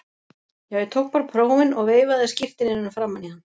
Já, ég tók bara prófin og veifaði skírteininu framan í hann.